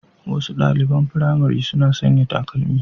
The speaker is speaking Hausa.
Wasu ɗaliɓan firamare suna sanƴa takalma